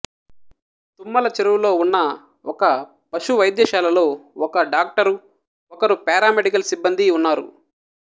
తుమ్మలచెరువులో ఉన్న ఒక పశు వైద్యశాలలో ఒక డాక్టరు ఒకరు పారామెడికల్ సిబ్బందీ ఉన్నారు